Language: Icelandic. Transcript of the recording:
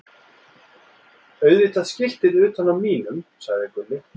Auðvitað skiltið utan á mínum, sagði Gulli.